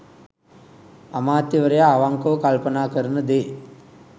අමාත්‍යවරයා අවංකව කල්පනා කරන දේ